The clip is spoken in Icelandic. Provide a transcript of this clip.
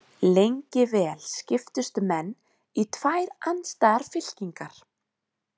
Lengi vel skiptust menn í tvær andstæðar fylkingar.